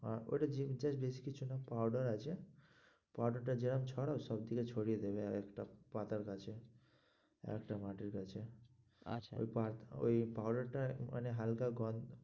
আর ওইটা বেশি কিছু না, powder আছে powder টা যেরম ছড়াও সব দিকে ছড়িয়ে দেবে আর একটা পাতার কাছে আর একটা মাটির কাছে আচ্ছা, ওই ওই powder টা মানে হালকা